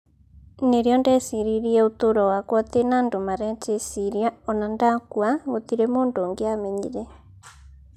Nĩrĩo ndeciririe ũtũro wakwa ũtĩna andũ marejĩciria ona ndakua gũtire mũndũ ũngĩamenyire.